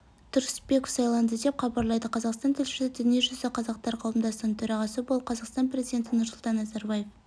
тұрысбеков сайланды деп хабарлайды қазақстан тілшісі дүниежүзі қазақтары қауымдастығының төрағасы болып қазақстан президенті нұрсұлтан назарбаев